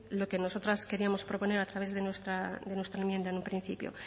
lo que nosotras queríamos proponer a través de nuestra enmienda en un principio